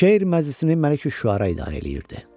Şeir məclisini Məlik Üşüəra idarə edirdi.